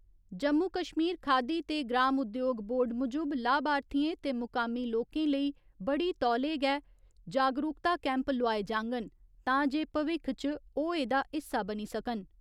जम्मू कश्मीर खादी ते ग्राम उद्योग बोर्ड मुजब, लाभार्थिएं ते मुकामी लोकें लेई बड़ी तौले गै जागरूकता कैंप लोआए जाङन तांजे भविक्ख च ओह् एह्दा हिस्सा बनी सकन।